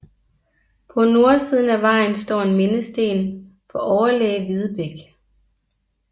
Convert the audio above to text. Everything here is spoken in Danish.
På nordsiden af vejen står en mindesten for overlæge Videbech